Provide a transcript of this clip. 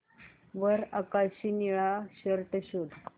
वर आकाशी निळा शर्ट शोध